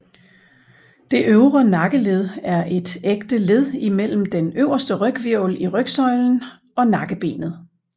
Det øvre nakkeled er et ægte led imellem den øverste ryghvirvel i rygsøjlen og nakkebenet